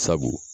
Sabu